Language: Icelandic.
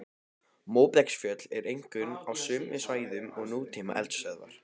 Móbergsfjöll eru einkum á sömu svæðum og nútíma eldstöðvar.